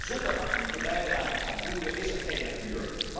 Zonder actieve bijdrage van boeren is er geen natuur.